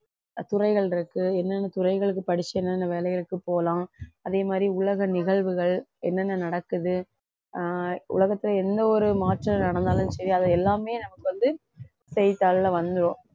அஹ் துறைகள் இருக்கு என்னென்ன துறைகளுக்கு படிச்சு என்னென்ன வேலைகளுக்கு போலாம் அதே மாதிரி உலக நிகழ்வுகள் என்னென்ன நடக்குது ஆஹ் உலகத்துல எந்த ஒரு மாற்றம் நடந்தாலும் சரி அதை எல்லாமே நமக்கு வந்து செய்தித்தாள்ல வந்துரும்